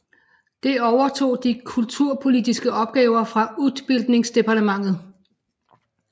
Det overtog de kulturpolitiske opgaver fra utbildningsdepartementet